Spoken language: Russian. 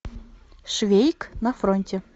швейк на фронте